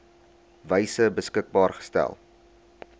wyse beskikbaar gestel